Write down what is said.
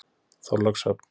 Þorlákshöfn